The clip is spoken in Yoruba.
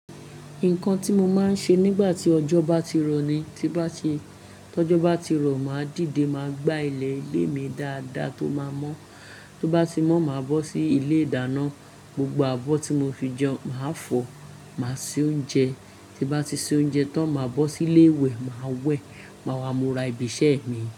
Nǹkan tí mo máa ń ṣe nígbà tí ọjọ́ bá ti rọ̀ ni tí bá ti, tí ọjọ́ bá ti rọ̀, màá dìde, màá gbá ilẹ̀ ilé mi dáadáa tó máa mọ́. Tó bá ti mọ́, màá bọ́ sí ilé ìdáná, gbogbo abọ́ tí mo fi jẹun màá fọ, màá se oúnjẹ. Tí bá ti se oúnjẹ tán, màá bọ́ sí ilé ìwẹ̀, màá wẹ̀, màá wá, mo ra ibi iṣẹ́ mi.